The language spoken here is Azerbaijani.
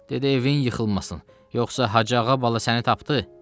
Dedi evin yıxılmasın, yoxsa Hacı ağa bala səni tapdı?